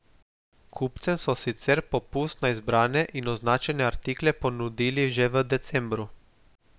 Kupcem so sicer popust na izbrane in označene artikle ponudili že v decembru.